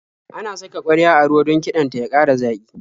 Ana saka ƙwarya a ruwa don kiɗan ta ya ƙara zaƙi.